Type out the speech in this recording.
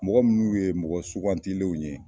Mɔgɔ minnu ye mɔgɔ sugantilenw ye.